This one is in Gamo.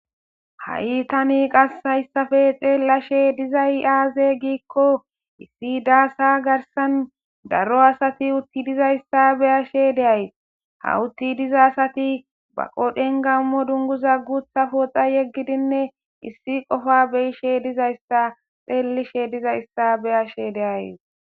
Ha'i tani qas hayssape xeellashe dizay aaze giikko issi daassa garsan daro asati utti dizayssa beyashe deays ha utti diza asati baqodhen gammo dunguza gutha pooxa yeggidinne issi qofa beyishe dizayssa xeellishe dizayssa beyashe deays.